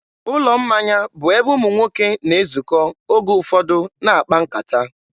ụlọ mmanya bụ ebe ụmụ nwoke na-ezukọ oge ụfọdụ na-akpa nkata.